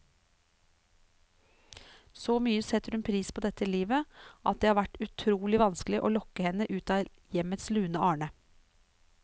Så mye setter hun pris på dette livet, at det har vært utrolig vanskelig å lokke henne ut av hjemmets lune arne.